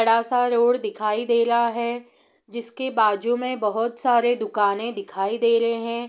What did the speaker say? बड़ा सा रोड दिखाई देला है जिसके बाजु में बहुत सारे दुकाने दिखाई देलें हैं।